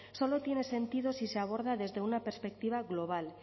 solo tiene sentido si se aborda desde una perspectiva global